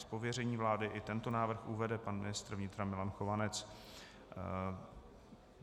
Z pověření vlády i tento návrh uvede pan ministr vnitra Milan Chovanec.